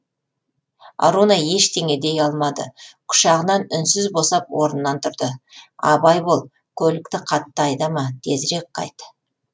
аруна ештең дей алмады құшағынан үнсіз босап орынынан тұрды абай бол көлікті қатты айдама тезірек қайт